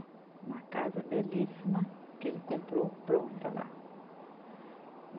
Uma casa belíssima que ele comprou pronta lá.